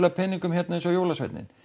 peningum hérna eins og jólasveinninn